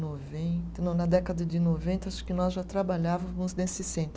Noventa, não, na década de noventa, acho que nós já trabalhávamos nesse centro.